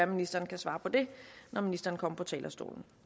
ministeren kan svare på det når ministeren kommer på talerstolen